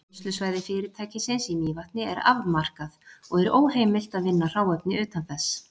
Vinnslusvæði fyrirtækisins í Mývatni er afmarkað, og er óheimilt að vinna hráefni utan þess.